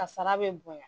Kasara bɛ bonya